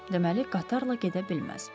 Deməli, qatarla gedə bilməz.